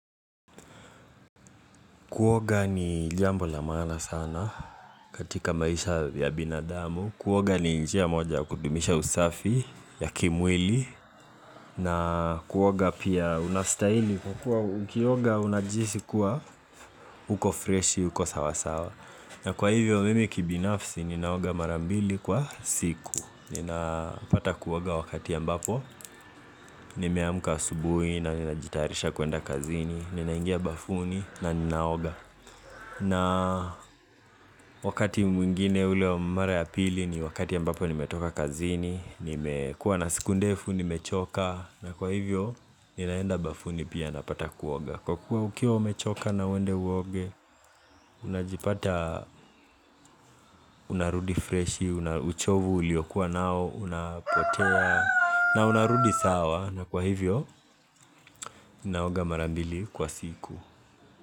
Kuoga ni jambo la maana sana katika maisha ya binadamu. Kuoga ni njia moja ya kudumisha usafi ya kimwili. Na kuoga pia unastahili kwa kuwa ukioga unajihisi kuwa uko fresh, uko sawasawa. Na kwa hivyo mimi kibinafsi ninaoga mara mbili kwa siku. Ninapata kuoga wakati ambapo. Nimeamuka asubuhi na ninajitayarisha kuenda kazini. Ninaingia bafuni na ninaoga. Na wakati mwingine ule wa mara ya pili ni wakati ambapo nimetoka kazini, nimekua na siku ndefu, nimechoka, na kwa hivyo ninaenda bafuni pia napata kuoga. Kwa kuwa ukiwa umechoka na uwende uoge, unajipata, unarudi freshi, na uchovu uliokua nao, unapotea, na unarudi sawa, na kwa hivyo, ninaoga mara mbili kwa siku.